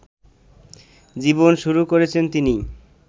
জীবন শুরু করেছেন তিনি